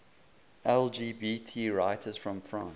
lgbt writers from france